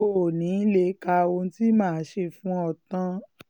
o ò ní í lè ka ohun tí mà á ṣe fún ọ tán